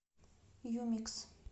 юмикс